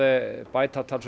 bæta talsvert